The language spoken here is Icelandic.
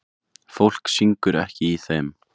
Fólk syngur ekki í þeim.